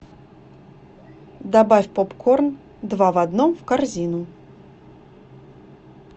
добавь попкорн два в одном в корзину